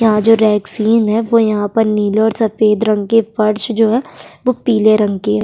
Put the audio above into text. यहाँ जो रेक्सीन है वो यहाँ पर नीले और सफेद रंग के फर्श जो है वो पीले रंग की है।